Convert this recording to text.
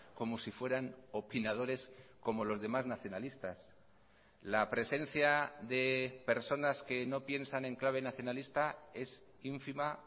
como si fueran opinadores como los demás nacionalistas la presencia de personas que no piensan en clave nacionalista es ínfima